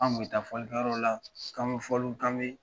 An kun bɛ taa fɔlikɛyɔrɔla k'an bɛ fɔliw kan bɛ